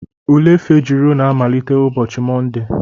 Ule Fejiro na-amalite ụbọchị Mọnde.